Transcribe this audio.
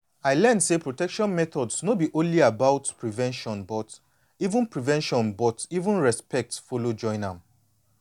i learn say protection methods no be only about prevention but even prevention but even respect follow join am